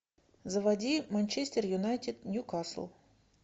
заводи манчестер юнайтед ньюкасл